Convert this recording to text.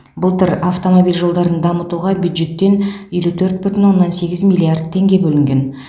былтыр автомобиль жолдарын дамытуға бюджеттен елу төрт бүтін оннан сегіз миллиард теңге бөлінген